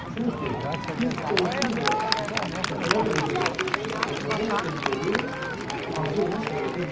Çünki biz onsuz da dəfələrlə burda danışmışıq ki, Azərbaycan futbolu arzu olunan səviyyədə deyil.